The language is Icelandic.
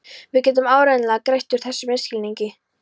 Við getum áreiðanlega greitt úr þessum misskilningi.